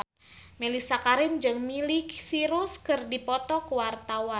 Mellisa Karim jeung Miley Cyrus keur dipoto ku wartawan